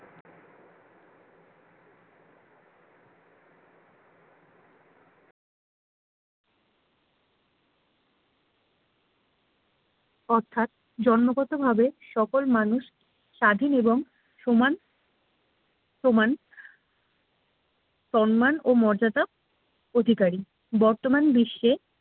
অর্থাৎ জন্মগতভাবে সকল মানুষ স্বাধীন এবং সমান সমান সম্মানও মর্যাদা অধিকারী বর্তমান বিশ্বে